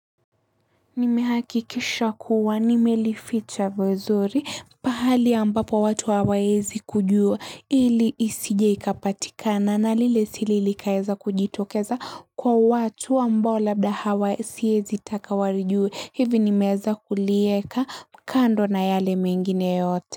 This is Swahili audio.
Nimehakikisha kuwa nimelificha vizuri pahali ambapo watu hawaezi kujua ili isije ikapatikana na lile siri likaeza kujitokeza kwa watu ambao labda hawa siezi taka walijue hivi nimeeza kulieka kando na yale mengine yote.